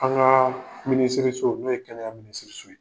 An ŋaa minisiriso, n'o ye kɛnɛya minisiriso ye